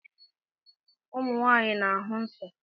Ụmụ nwaanyị na-ahụ nsọ́